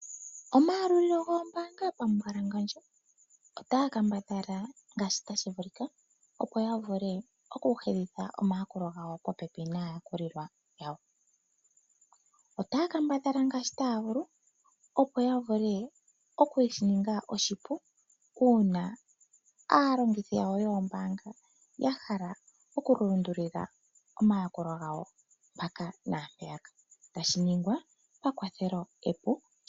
Omayalulilo goombaanga pamumbwalangandja otaya kambadhala ngaashi tashi vulika, opo ya vule okuhedhidha omayakulo popepi naayakulwa yawo. Otaya kambadhala ngaashi taya vulu, opo ya vule okushi ninga oshipu uuna aalongithi yawo yoombaanga ya hala okulundulila omayakulo gawo mpaka naampeya tashi ningwa pakwathelo epu.